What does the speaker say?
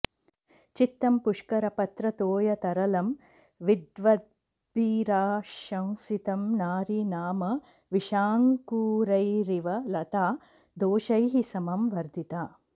चित्तं पुष्करपत्रतोयतरलं विद्वद्भिराशंसितं नारी नाम विषाङ्कुरैरिव लता दोषैः समं वर्धिता